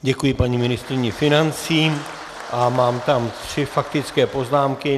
Děkuji paní ministryni financí a mám tam tři faktické poznámky.